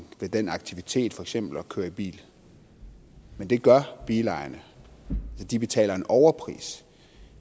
ved den aktivitet for eksempel det at køre i bil det gør bilejerne de betaler en overpris